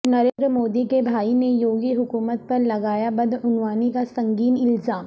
نریندر مودی کے بھائی نے یوگی حکومت پر لگایا بدعنوانی کا سنگین الزام